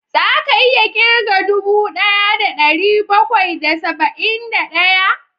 Za ka iya ƙirga dubu ɗaya da ɗari bakwai da saba'in da ɗaya?